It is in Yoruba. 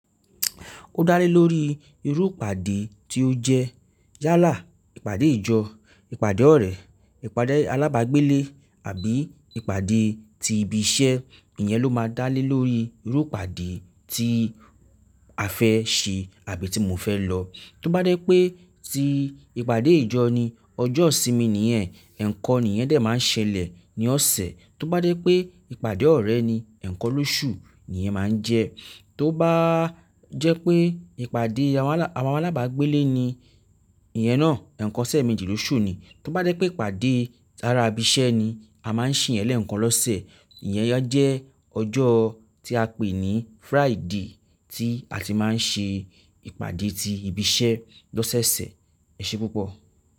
Ó dá lé lórí irú ìpàdé tí ó jẹ́ yálà, ìpàdé ìjọ, ìpàdé ọ̀rẹ́, ìpàdé alábágbélé àbí ìpàdé ti ibi iṣẹ́, ìyẹn ló máa dá lé lórí irú ìpàdé tí a fẹ́ ṣe àbí ti mo fẹ́ lọ. Tí ó bá dé pé tí ìpàdé ìjọ ni, ọjọ́ ìsinmi nìyẹn, ẹ̀ẹ̀kan nìyẹn de máa ń ṣẹlẹ̀ ní ọ̀sẹ̀. Tí ó bá dé pé ìpàdé ọ̀rẹ́ ni, ẹ̀ẹ̀kan lóṣù nìyẹn máa ń jẹ́. Tí ó bá jẹ́ pé ìpàdé àwọn alábágbélé ni, ìyẹn náà ẹ̀ẹ̀kan sẹ́ẹ̀mẹ́jì lóṣù ni. Tí ó bá dé pé ìpàdé tára ibi iṣẹ́ ni, a máa ń sen yẹn lẹ́ẹ̀kan lọ́sẹ̀. Ìyẹn jẹ́ ọjọ́ tí a pè ní Friday tí a ti máa ń ṣe ìpàdé ti ibi iṣẹ́ lọ́sẹ̀ẹ̀sẹ̀. Ẹ ṣe púpọ̀.